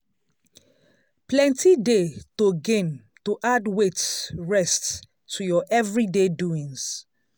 plenty dey to gain to add wait rest to ur everyday doings.